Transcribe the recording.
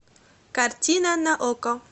картина на окко